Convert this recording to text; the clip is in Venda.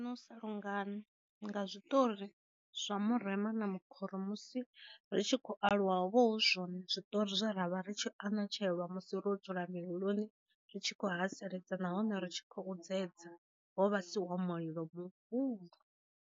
Na u sa lungana nga zwiṱori zwa murema na makhoro musi ri tshi khou aluwa vho zwo zwiṱori zwe ra vha ri tshi anatshelwa musi ro dzula milioni ritshi kho haseledza nahone ri tshi khou dzedza, ho vhasiwa mulilo muhulu.